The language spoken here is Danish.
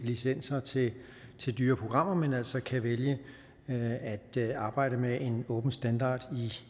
licenser til til dyre programmer men altså kan vælge at at arbejde med en åben standard